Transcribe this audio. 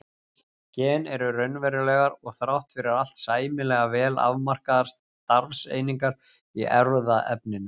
Gen eru raunverulegar og þrátt fyrir allt sæmilega vel afmarkaðar starfseiningar í erfðaefninu.